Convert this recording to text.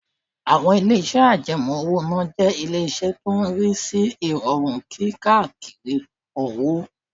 Àwọn ilé-iṣẹ́ àjẹmọ́ owó-ìná jẹ́ ilé iṣẹ́ tó ń rí sí ìrọ̀rùn kí kárí owó